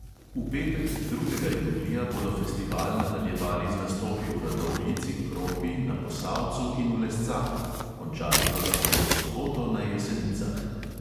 V petek, drugega julija, bodo festival nadaljevali z nastopi v radovljici, kropi, na posavcu in v lescah, končali pa ga bodo v soboto na jesenicah.